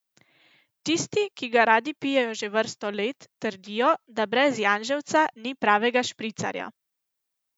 Tisti, ki ga radi pijejo že vrsto let, trdijo, da brez janževca ni pravega špricarja.